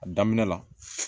A daminɛ la